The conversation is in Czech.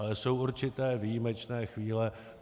Ale jsou určité výjimečné chvíle.